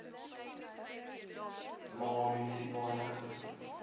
ma munisipale gebied